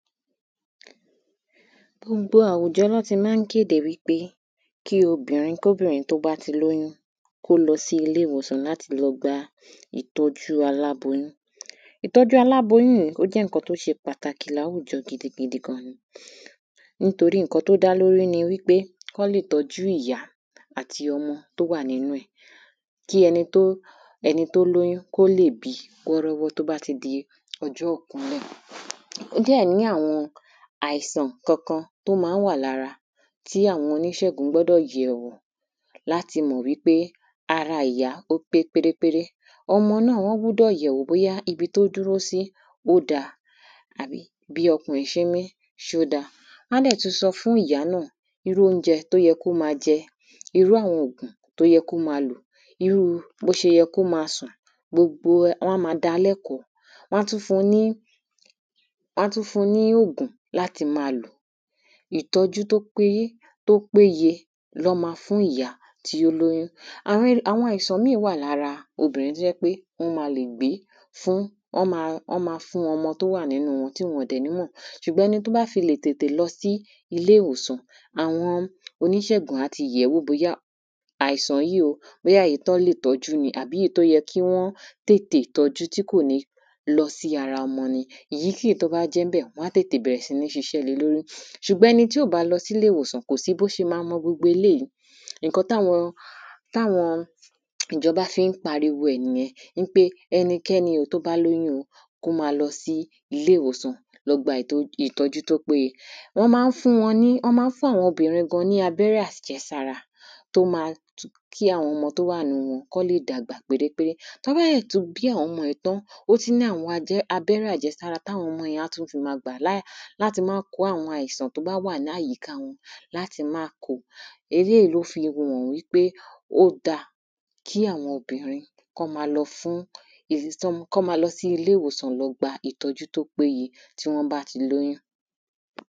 Gbogbo àwùjọ ná ti má ń kéde wípé kí obìnrin tóbìnrin bá ti lóyún kó lọ sí ilé ìwòsàn láti lọ gba ìtọ́jú aláboyún. Ìtọ́jú aláboyún yìí ó jẹ́ nǹkan tó ṣe pàtàkì láwùjọ gidi gan ni nítorí nǹkan tó dá lórí ni kán lè tọ́jú ìyá àti ọmọ tó wà nínú ẹ̀ kí ẹni tó ẹni tó lóyún kó lè bí kó rówó tó bá ti di ọjọ́ ìkúnlẹ̀. Ó dẹ̀ ní àwọn àìsàn kankan tó má ń wà ní ara tí àwọn oníṣègùn gbọ́dọ̀ yẹ̀ wò láti mọ̀ wípé ara ìyá ó pé péré ń péré. Ọmọ náà wọ́n gbúdọ̀ yẹ̀ wò bóyá ibi tó dúró sí ó dá àbí bí ọmọ ṣé ń mí ṣó dá irú óúnjẹ tó yẹ kó má jẹ irú àwọn òògùn tó yẹ kó má lò irú bó ṣe yẹ kó má sùn irú gbogbo wọ́n á dá lẹ́kọ̀ọ́ wọ́n á tún fún ní wọ́n á tún fún ní òògùn láti má lò ìtọ́jú tó pé tó péye ná má fún ìyá tí ó lóyún. Àwọn àwọn àìsàn míì wà lára obìnrin tó jẹ́ pé wọ́n má wọ́n ma lè gbé fún wọ́n má fún ọmọ tó wà nínú wọn tí wọn dẹ̀ ní mọ̀ ṣùgbọ́n ẹni tó bá fi le tètè lọ sí ilé ìwòsàn àwọn oníṣègùn á ti yẹ̀ wò bóyá àìsàn yìí o bóyá èyí tán lè tọ́jú ni àbí èyí tó yẹ kí wọ́n tètè tọ́jú tí kò ní lọ sí ara ọmọ yẹn èyí tó bá jẹ́ ńbẹ̀ wọ́n á tètè bẹ̀rẹ̀ sí ní ṣiṣẹ́ lé lórí. Ṣùgbọ́n ẹni tí ò bá lọsílé ìwòsàn kó sí bó ṣe má mọ gbogbo eléèyí nǹkan táwọn táwọn ìjọba fi ń pariwo ẹ̀ nìyẹn wípé ẹnikẹ́ni o tó bá lóyún o kó má lọ sí ilé ìwòsàn kó lọ gba ìtọ́jú ìtọ́jú tó péye Wọ́n má ń fún wọn ní wọ́n má ń fún àwọn obìrin gan ní abẹ́rẹ́ àjẹsára tó má kí àwọn ọmọ tó wà nínú wọn kán lè dàgbà péréńpéré tó bá dẹ̀ tún bí àwọn ọmọ yìí ní àwọn abẹ́rẹ́ àjẹsára táwọn ọmọ yẹn á tún ti má gbà láti má kó àwọn àìsàn tó bá wà láyíká wọn láti má kó eléèyí ló fi hàn wípé ó dá kí àwọn obìnrin kí wọ́n má lọ fún èyí tó má kán má lọ sí ilé ìwòsàn láti lọ gba ìtọ́jú tó péye tí wọ́n bá ti lóyún.